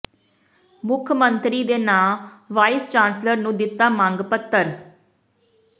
ਮੁੱਖ ਮੰਤਰੀ ਦੇ ਨਾਂਅ ਵਾਈਸ ਚਾਂਸਲਰ ਨੂੰ ਦਿੱਤਾ ਮੰਗ ਪੱਤਰ